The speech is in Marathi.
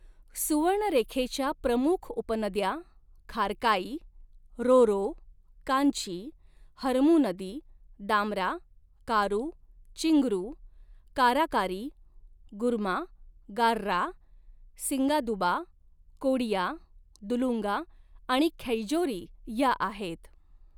सुवर्णरेखेच्या प्रमुख उपनद्या खारकाई, रोरो, कांची, हरमू नदी, दामरा, कारू, चिंगरू, काराकारी, गुरमा, गार्रा, सिंगादुबा, कोडिया, दुलुंगा आणि खैजोरी या आहेत.